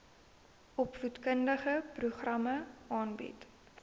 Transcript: opvoedkundige programme aanbied